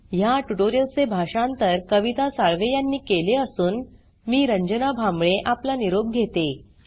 या ट्यूटोरियल चे भाषांतर कविता साळवे यांनी केले असून मी रंजना भांबळे आपला निरोप घेते